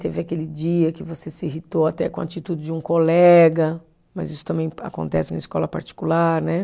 Teve aquele dia que você se irritou até com a atitude de um colega, mas isso também acontece na escola particular, né?